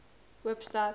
hoopstad